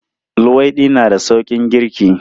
Luwaiɗi na da sauƙin girki.